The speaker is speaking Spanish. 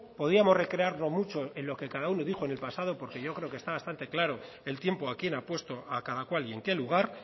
podíamos recrearnos mucho en lo que cada uno dijo en el pasado porque yo creo que está bastante claro el tiempo a quién ha puesto a cada cual y en qué lugar